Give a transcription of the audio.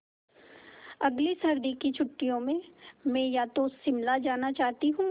अगली सर्दी की छुट्टियों में मैं या तो शिमला जाना चाहती हूँ